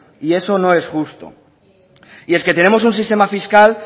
y eso no es justo y es que tenemos un sistema fiscal